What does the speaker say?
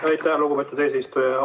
Aitäh, lugupeetud eesistuja!